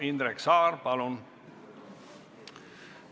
Indrek Saar, palun!